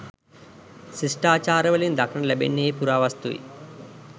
ශිෂ්ටාචාරවලින් දක්නට ලැබෙන්නේ ඒ පුරාවස්තුයි